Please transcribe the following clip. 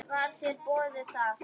Var þér boðið það?